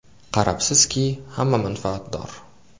Qarabsizki, hamma manfaatdor.